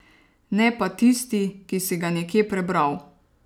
Ne pa tisti, ki si ga nekje prebral.